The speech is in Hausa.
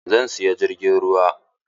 Zan siya jirgin ruwa.